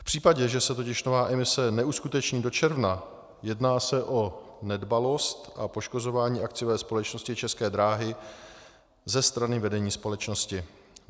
V případě, že se totiž nová emise neuskuteční do června, jedná se o nedbalost a poškozování akciové společnosti České dráhy ze strany vedení společnosti.